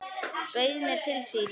Bauð mér til sín.